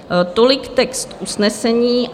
Tolik text usnesení.